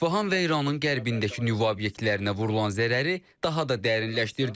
İsfahan və İranın qərbindəki nüvə obyektlərinə vurulan zərəri daha da dərinləşdirdik.